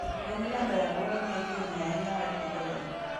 Gigo milando e alworawa miyo ji ong'eyo ahinya wach pidho winy.